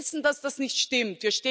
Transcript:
Wir wissen, dass das nicht stimmt.